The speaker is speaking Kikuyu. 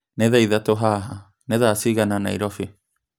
nī thaa ithatū haha nī thaa cigana Nairobi